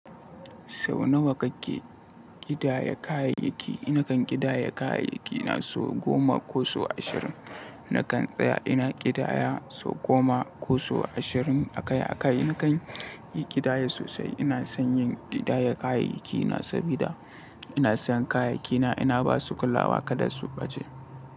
Sau nawa kake ƙidaya kayayyaki? Ni kan ƙidaya kayayyaki na sau goma ko sau ashirin. Nakan tsaya ina ƙidaya sau goma ko sau ashirin akai-akai. Nakan yi ƙidaya sosai. Ina son yin ƙidaya kayayyaki na saboda ina son kayayyaki na ina ba su kulawa kada su ɓace.